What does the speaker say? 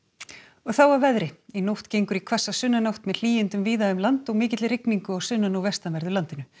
þá að veðri í nótt gengur í hvassa sunnanátt með hlýindum víða um land og mikilli rigningu á sunnan og vestanverðu landinu